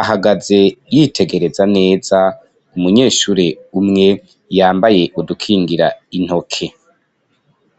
ahagaze yitegereza neza umunyeshure umwe yambaye udukingira intoke.